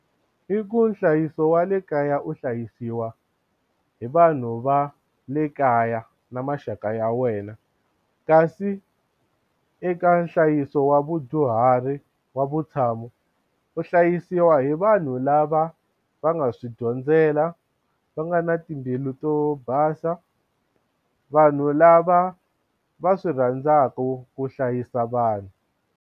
I ku nhlayiso wa le kaya u hlayisiwa hi vanhu va le kaya na maxaka ya wena kasi eka nhlayiso wa vudyuhari wa vutshamo u hlayisiwa hi vanhu lava va nga swi dyondzela va nga na timbilu to basa vanhu lava va swi rhandzaka ku hlayisa vanhu.